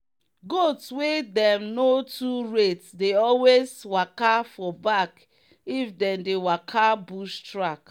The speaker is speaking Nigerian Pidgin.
goats wey dem no too rate dey always waka for back if them dey waka bush track.